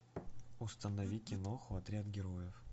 установи киноху отряд героев